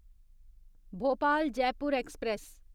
Bhopal Jaipur express